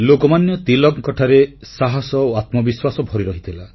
ଲୋକମାନ୍ୟ ତିଳକଙ୍କଠାରେ ସାହସ ଓ ଆତ୍ମବିଶ୍ୱାସ ଭରି ରହିଥିଲା